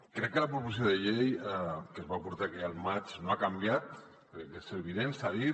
crec que la proposició de llei que es va portar aquí al maig no ha canviat crec que és evident s’ha dit